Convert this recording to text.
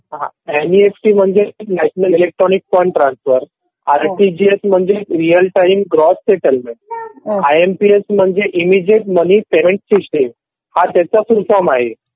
N F T म्हणजे national electronic fund transfer, RTGS म्हणजे real time gross settlement, I M P S म्हणजे immediate service money payment system. हा त्याचा full form आहे.